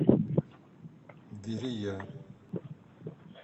верея